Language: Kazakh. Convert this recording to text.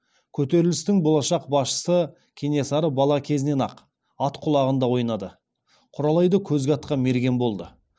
көтерілістің болашақ басшысы кенесары бала кезінен ақ ат құлағында ойнады құралайды көзге атқан мерген болды